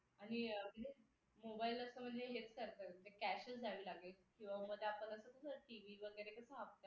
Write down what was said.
आणि mobile असं म्हणजे हेच करतात cash च द्यावी लागेल किंवा मग ते आपण कसं tv वगैरे कसं हप्त्यावर